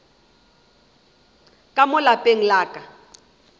ka mo lapeng la ka